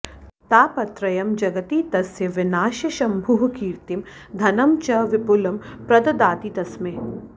तापत्रयं जगति तस्य विनाश्य शम्भुः कीर्तिं धनं च विपुलं प्रददाति तस्मै